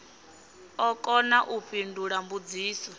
ḓo kona u fhindula mbudziso